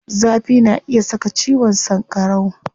Zafi na iya saka ciwon sankarau.